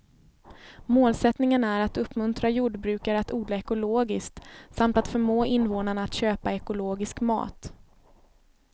Målsättningen är att uppmuntra jordbrukare att odla ekologiskt samt att förmå invånarna att köpa ekologisk mat.